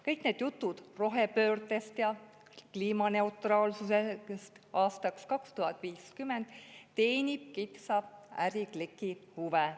Kõik need jutud rohepöördest ja kliimaneutraalsusest aastaks 2050 teenib kitsa ärikliki huve.